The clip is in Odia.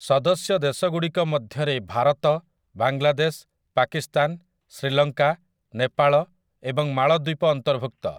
ସଦସ୍ୟ ଦେଶଗୁଡ଼ିକ ମଧ୍ୟରେ ଭାରତ, ବାଂଲାଦେଶ, ପାକିସ୍ତାନ, ଶ୍ରୀଲଙ୍କା, ନେପାଳ ଏବଂ ମାଳଦ୍ୱୀପ ଅନ୍ତର୍ଭୁକ୍ତ ।